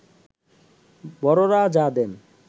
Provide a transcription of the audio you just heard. বড়রা যা দেন